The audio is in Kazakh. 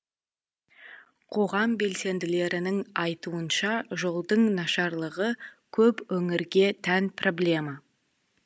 қоғам белсенділерінің айтуынша жолдың нашарлығы көп өңірге тән проблема